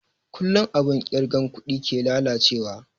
Kullun abun kirga kuɗi ke lalace wa